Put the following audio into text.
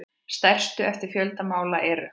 Stærstu eftir fjölda mála eru